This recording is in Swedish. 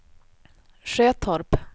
Sjötorp